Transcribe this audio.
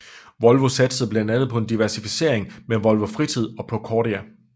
Volvo satsede blandt andet på diversificering med Volvo Fritid og Procordia